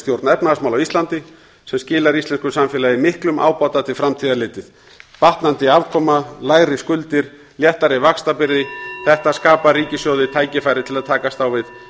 stjórn efnahagsmála á íslandi sem skilar íslensku samfélagi miklum ábata til framtíðar litið batnandi afkoma lægri skuldir léttari vaxtabyrði þetta skapar ríkissjóði tækifæri til að takast á við